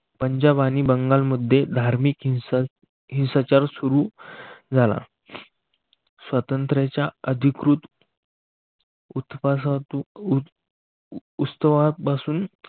पंजाब आणि बंगालमध्ये धार्मिक हिंसात ही संचार सुरू झाला. स्वातंत्र्याच्या अधिकृत उत्सवापासून पासून